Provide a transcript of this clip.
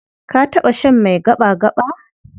Ka taɓa shan mai gaɓa-gaɓa?